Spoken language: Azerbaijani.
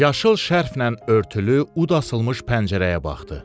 Yaşıl şərf ilə örtülü ud asılmış pəncərəyə baxdı.